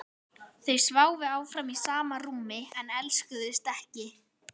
Þau sváfu áfram í sama rúmi en elskuðust ekki.